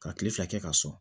Ka kile fila kɛ ka sɔn